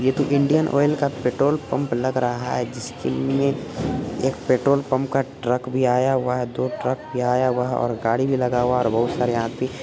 ये तो Indian oil का पेट्रोल पम्प लग रहा है जिसके लिए एक पेट्रोल पम्प का ट्रक भी आया हुआ है दो ट्रक भी आया हुआ है और गाड़ी भी लगा हुआ है और बहुत सारे आदमी--